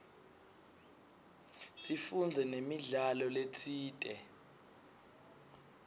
sifundze namidlalo letsite